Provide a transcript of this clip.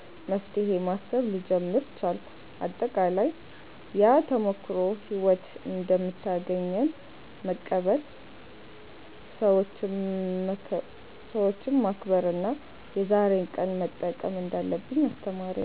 መፍትሄ ማሰብ ልጀምር ቻልኩ። አጠቃላይ፣ ያ ተሞክሮ ሕይወት እንደምታገኘን መቀበል፣ ሰዎችን መከብር እና የዛሬን ቀን መጠቀም እንዳለብኝ አስተማረኝ።